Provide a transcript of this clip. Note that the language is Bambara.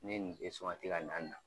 Ne ye nin ka na de